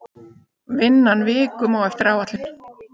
Vinnan vikum á eftir áætlun